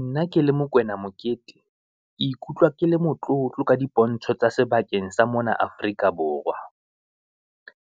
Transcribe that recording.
Nna ke le Mokwena Mokete, ke ikutlwa ke le motlotlo ka dipontsho tsa sebakeng sa mona Afrika Borwa.